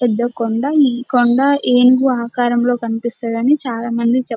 పెద్ద కొండ.ఈ కొండ ఏనుగు ఆకారంలో కనిపిస్తుందని చాలామంది చెప్